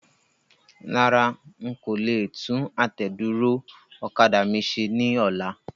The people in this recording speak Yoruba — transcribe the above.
Rárá,n kò le tún àtẹ̀dúró ọ̀kadà mi ṣe ní ọlá.